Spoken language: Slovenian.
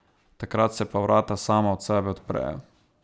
Takrat se pa vrata sama od sebe odprejo.